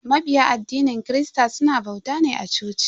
Mabiya addinin christa suna bauta ne a coci.